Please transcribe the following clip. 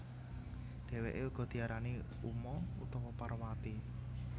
Dhèwèké uga diarani Uma utawa Parwati